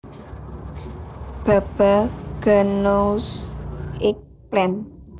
Baba ghanoush eggplant